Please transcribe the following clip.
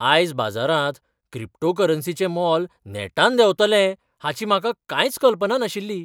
आयज बाजारांत क्रिप्टोकरन्सीचें मोल नेटान देंवतलें हाची म्हाका कांयच कल्पना नाशिल्ली.